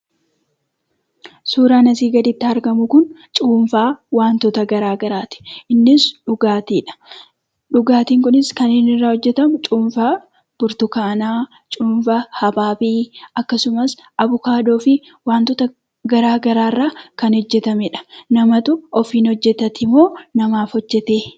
Suuraan asii gaditti argamu kun cuunfaa wantoota garaagaraati. innis dhugaatiidha. Dhugaatiin kunis kan inni irraa hojjetamu cuunfaa burtukaana, cuunfaa abaabii, akkasumas, Abukaadoo fi wantoota garaa garaarraa kan hojjetameedha.